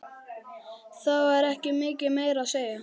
Það var ekki mikið meira að segja.